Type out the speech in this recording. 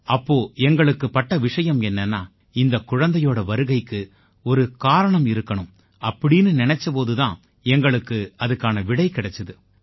அப்போ எங்களுக்குப் பட்ட விஷயம் என்னன்னா இந்தக் குழந்தையோட வருகைக்கு ஒரு காரணம் இருக்கணும் அப்படீன்னு நினைச்ச போது தான் எங்களுக்கு அதுக்கான விடை கிடைச்சுது